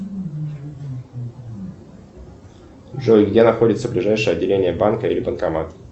джой где находится ближайшее отделение банка или банкомат